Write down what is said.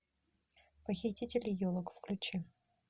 похитители елок включи